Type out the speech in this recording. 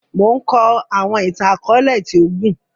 Mo n kọ àwọn ìtàn-akọọlẹ ti o gún